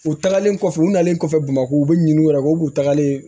U tagalen kɔfɛ u nalen kɔfɛ bamakɔ u bɛ ɲin'u yɛrɛ ye u b'u tagalen